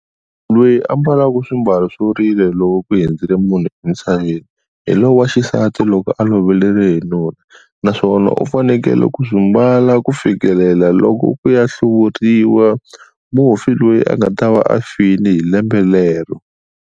Loyi a ambalaka swimbalo swo rila loko ku hundzile munhu emisaveni, hi lowu waxisati loko aloveriwe hi nuna. Naswona u fanekele ku swi mbala ku fikelela loko ku ya hluriwa, mufi loyi a nga ta va a file hi lembe lero.